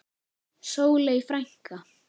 Sóley frænka.